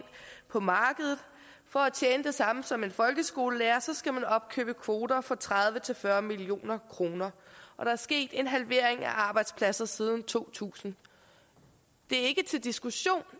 på markedet for at tjene det samme som en folkeskolelærer skal man opkøbe kvoter for tredive til fyrre million kroner og der er sket en halvering af arbejdspladser siden to tusind det er ikke til diskussion